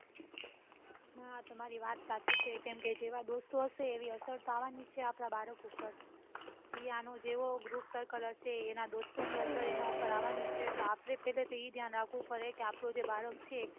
હા તમારી વાત સાચી જેમકે જેવા દોસ્તો હશે એવી અસર આવવાની છે આપડા બાળક પર ઈએ અનુ જેવું group circle હશે એના દોસ્તો ની અસર એના ઉપર આવવાની છે આપડે પેલા એ ઘ્યાન રકવું પડે કે બાળક છે